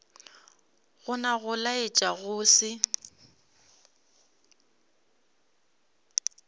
gona go laetša go se